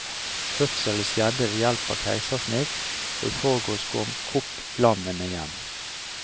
Fødselen skjedde ved hjelp av keisersnitt, og i forgårs kom kopplammene hjem.